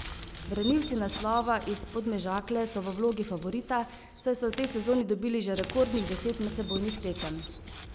Branilci naslova iz Podmežakle so v vlogi favorita, saj so v tej sezoni dobili že rekordnih deset medsebojnih tekem.